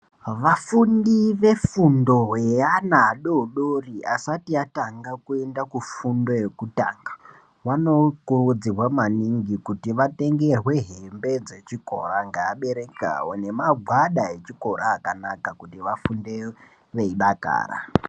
Vafundi vefundo yeana vadodori vasati atanga kuebda kufundo yekutanga vano kuridzirwa maningi kuti vatengerwe hembe dzechikora ngeabereki avo nemagwada echikora akanaka kuti vafunde veidakara.